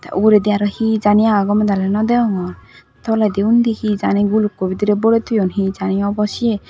uguredi aro he jaani agon gomey dali nodegongor toledi undi he jaani gulukko bidirey borey toyon he jaani obo siye.